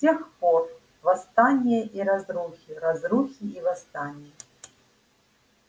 с тех пор восстания и разрухи разрухи и восстания